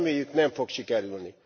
Reméljük, nem fog sikerülni.